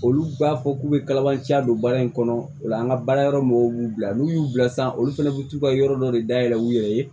Olu b'a fɔ k'u bɛ kalabanciya don baara in kɔnɔ o la an ka baara yɔrɔ mɔgɔw b'u bila n'u y'u bila san olu fana bɛ t'u ka yɔrɔ dɔ de dayɛlɛ u yɛrɛ ye